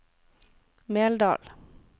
Meldal